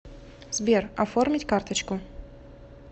сбер оформить карточку